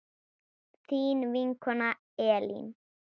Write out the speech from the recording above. Þín vinkona Elín.